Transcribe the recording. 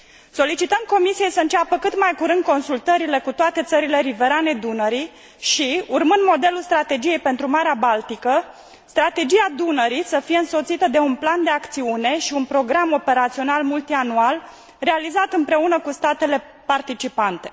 Solicităm Comisiei să înceapă cât mai curând consultările cu toate țările riverane Dunării și, urmând modelul Strategiei pentru Marea Baltică, strategia Dunării să fie însoțită de un plan de acțiune și un program operațional multianual realizat împreună cu statele participante.